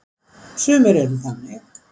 Sumir eru þannig.